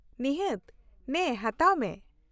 ᱱᱤᱦᱟᱹᱛ, ᱱᱮ ᱦᱟᱛᱟᱣ ᱢᱮ ᱾